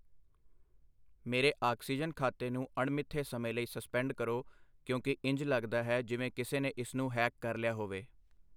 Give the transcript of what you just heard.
ਮੇਰੇ ਆਕਸੀਜਨ ਖਾਤੇ ਨੂੰ ਅਣਮਿੱਥੇ ਸਮੇਂ ਲਈ ਸਸਪੈਂਡ ਕਰੋ ਕਿਉਂਕਿ ਇੰਝ ਲੱਗਦਾ ਹੈ ਜਿਵੇਂ ਕਿਸੇ ਨੇ ਇਸ ਨੂੰ ਹੈਕ ਕਰ ਲਿਆ ਹੋਵੇ।